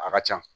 A ka ca